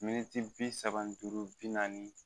Miniti bi saba ni duuru, bi naani